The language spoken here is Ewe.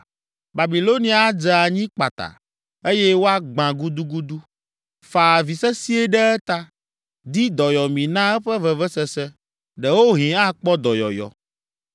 Babilonia adze anyi kpata, eye woagbã gudugudu. Fa avi sesĩe ɖe eta! Di dɔyɔmi na eƒe vevesese, ɖewohĩ akpɔ dɔyɔyɔ.